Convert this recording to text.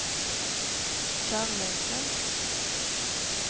kärleken